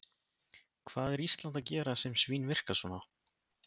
Hvað er Ísland að gera sem svínvirkar svona?